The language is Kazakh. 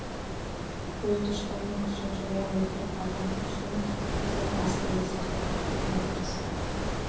ол дұшпанның күшін жоя отырып адам күшін біздің әскерді сақтап қалуға тырысты